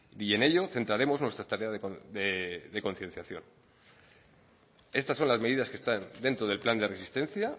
y en ello centraremos nuestra tarea de concienciación estas son las medidas que están dentro del plan de resistencia